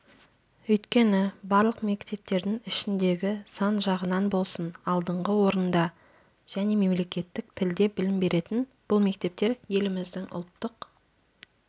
өйткені барлық мектептердің ішіндегі сан жағынан болсын алдыңғы орнында және мемлекеттік тілде білім беретін бұл мектептер еліміздің ұлттық